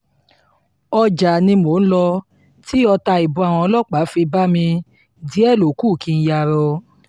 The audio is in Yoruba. ọjà ni mò ń lọ tí ọta ìbọn àwọn ọlọ́pàá fi bá mi díẹ̀ ló kù kí n yarọ